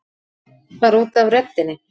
Bara út af röddinni.